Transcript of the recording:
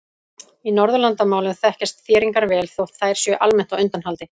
Í Norðurlandamálum þekkjast þéringar vel þótt þær séu almennt á undanhaldi.